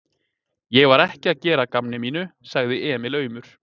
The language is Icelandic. Ég var ekki að gera að gamni mínu, sagði Emil aumur.